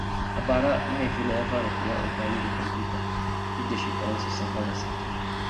A bara, Mahaifina ya fara koyon amfani da kwamfuta duk da shekarunsa sun haura sittin.